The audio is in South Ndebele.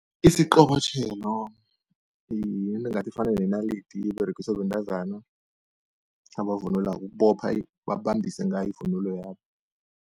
Isiqobotjhelo yinto engathi ifana nenalidi, iberegiswa bentazana abavunulako ukubopha babambise ngayo ivunulo yabo.